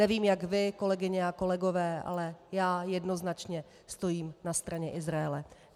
Nevím, jak vy, kolegyně a kolegové, ale já jednoznačně stojím na straně Izraele.